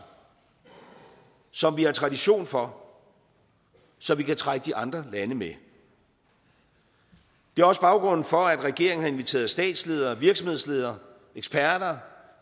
som vi har tradition for så vi kan trække de andre lande med det er også baggrunden for at regeringen har inviteret statsledere virksomhedsledere eksperter